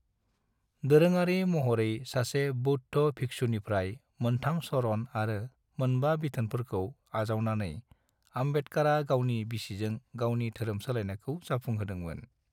दोरोङारि महरै सासे बौद्ध भिक्षुनिफ्राय मोन्थाम शरण आरो मोनबा बिथोनफोरखौ आजावनानै, आम्बेडकारा गावनि बिसिजों गावनि धोरोम सोलायनायखौ जाफुं होदोंमोन।